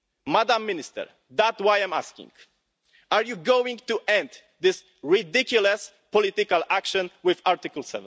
Madam Minister, that's why I'm asking are you going to end this ridiculous political action under Article